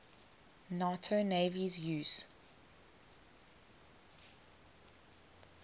nato navies use